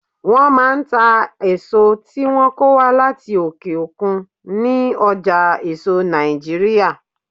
Wọ́n máa ń ta èso tí wọ́n kó wá láti òkè òkun ní ọjà èso Nàìjíríà.